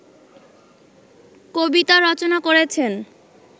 কবিতা রচনা করেছেন